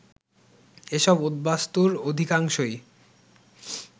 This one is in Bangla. এসব উদ্বাস্তুর অধিকাংশই